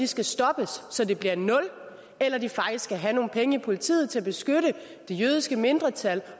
skal stoppes så de bliver nul eller de faktisk skal have nogle penge i politiet til at beskytte det jødiske mindretal